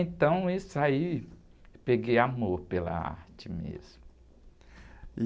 Então, isso aí, peguei amor pela arte mesmo.